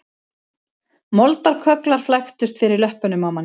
Moldarkögglar flæktust fyrir löppunum á manni